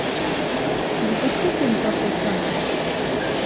запусти фильм плохой санта